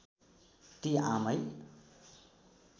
ती आमै